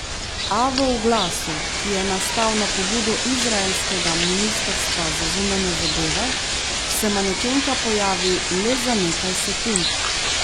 A v oglasu, ki je nastal na pobudo izraelskega ministrstva za zunanje zadeve, se manekenka pojavi le za nekaj sekund.